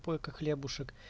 сколько хлеба